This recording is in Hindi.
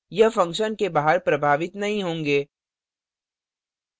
यह function के बाहर प्रभावित नहीं होंगे